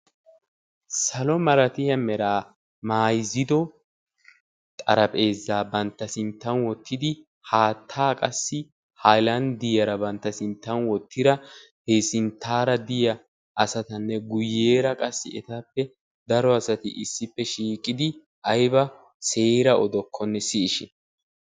Salon malatiya meraa mayzzido xarapheezzaa bantta sinttan wottidi haattaa qassi haylanddiyara bantta sinttan wottida he sinttaara diya asatanne guyyeera qassi etappe daro asati issippe shiiqidi ayba seera odokkonne siyishin.